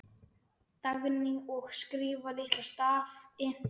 Dagný: Og skrifa litla stafi.